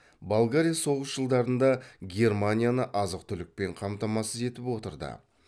болгария соғыс жылдарында германияны азық түлікпен қамтамасыз етіп отырды